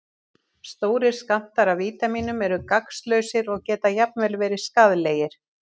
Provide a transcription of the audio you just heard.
Stórir skammtar af vítamínum eru gagnslausir og geta jafnvel verið skaðlegir.